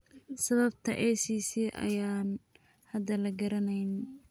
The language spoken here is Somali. Sababta ACC ayaan hadda la garanayn.